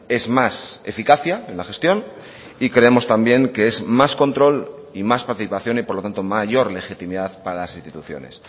es más eficacia en la gestión y creemos también que es más control y más participación y por lo tanto mayor legitimidad para las instituciones